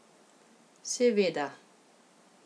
Seveda.